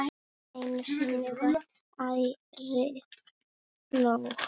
Einu sinni var ærið nóg.